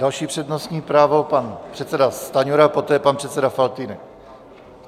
Další přednostní právo, pan předseda Stanjura, poté pan předseda Faltýnek.